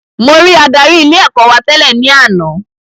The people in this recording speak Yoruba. Mo rí adarí ilé ẹ̀kọ́ wa tẹ́lẹ̀ ní àná